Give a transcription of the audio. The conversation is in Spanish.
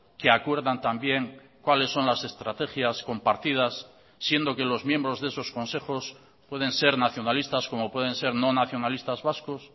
que acuerdan también cuáles son las estrategias compartidas siendo que los miembros de esos consejos pueden ser nacionalistas como pueden ser no nacionalistas vascos